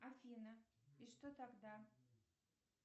афина и что тогда